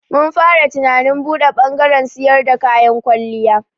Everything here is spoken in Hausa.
Mun fara tunanin buɗe bangaren siyar da kayan kwalliya.